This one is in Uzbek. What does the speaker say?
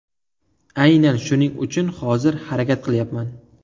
Aynan shuning uchun hozir harakat qilyapman.